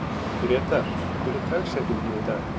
Grétar, hver er dagsetningin í dag?